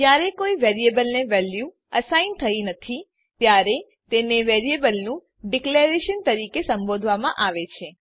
જયારે કોઈ વેરીએબલને વેલ્યુ અસાઇન થઇ નથી ત્યારે તેને વેરીએબલનું ડીકલેરેશન તરીકે સંબોધવામાં આવે છે